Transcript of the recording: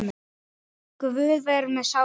Guð veri með sálu hennar.